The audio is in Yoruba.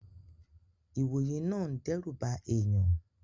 Ìwòye náà n dẹ́rùba èèyàn